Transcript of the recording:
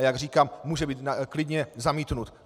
A jak říkám, může být klidně zamítnut.